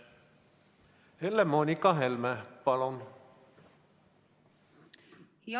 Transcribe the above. Helle-Moonika Helme, palun!